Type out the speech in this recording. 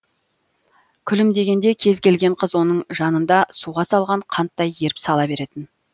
күлімдегенде кез келген қыз оның жанында суға салған қанттай еріп сала беретін